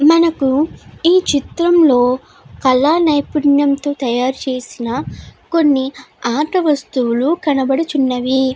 మనకు ఈ చిత్రం లో కళా నైపుణ్యం తో తయారు చేసిన కొన్ని ఆట వస్తువులు కనబడుచున్నవి.